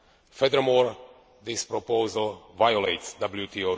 Furthermore this proposal violates WTO rules.